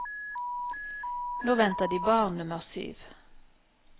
Nå venter de barn nummer syv.